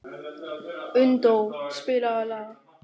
Unndór, spilaðu lag.